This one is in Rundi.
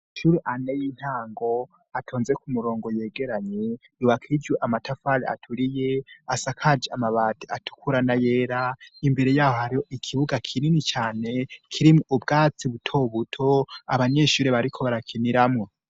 Amashure ane y'intango atonze ku murongo yegeranye yubakishijwe amatafari aturiye asakaje amabati atukura na yera, imbere yaho hari ikibuga kinini cane kirimwo ubwatsi buto buto abanyeshuri bariko barakiniramwo.